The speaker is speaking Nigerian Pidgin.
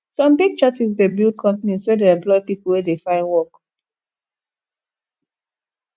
some big churches dey build companies wey dey employ pipo wey dey find work